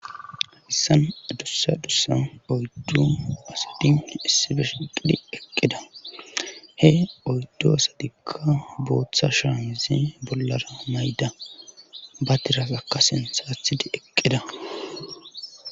issan adussa dussa oyddu asidin issibeshiqidhi eqqida he oyddo sadikka booththa shaanze bollara mayda ba tirasakkasen saathidi eqqida